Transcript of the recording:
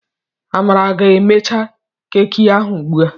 Amara ga ha emecha keki ahụ ugbu a.